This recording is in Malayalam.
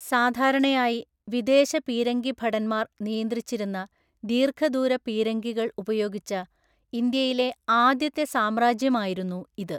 സാധാരണയായി വിദേശ പീരങ്കിഭടന്മാർ നിയന്ത്രിച്ചിരുന്ന ദീർഘദൂര പീരങ്കികൾ ഉപയോഗിച്ച ഇന്ത്യയിലെ ആദ്യത്തെ സാമ്രാജ്യമായിരുന്നു ഇത്.